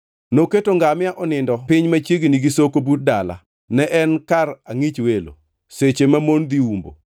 Noketo ngamia onindo piny machiegni gi soko but dala; ne en kar angʼich welo, seche mamon dhi umbo.